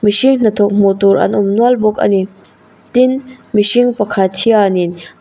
mihring hnathawk hmuh tur an awm nual bawk a ni tin mihring pakhat hianin--